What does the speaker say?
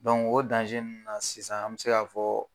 o nunnu na sisan ,an be se ka fɔ